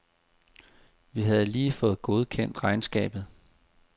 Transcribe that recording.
Vi havde lige fået godkendt regnskabet.